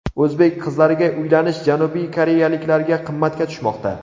O‘zbek qizlariga uylanish janubiy koreyaliklarga qimmatga tushmoqda .